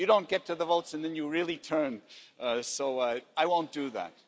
You don't get to the votes and then you really turn, so I won't do that.